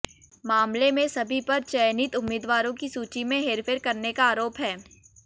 मामले में सभी पर चयनित उम्मीदवारों की सूची में हेरफेर करने का आरोप है